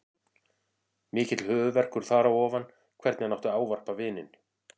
Mikill höfuðverkur þar á ofan hvernig hann átti að ávarpa vininn.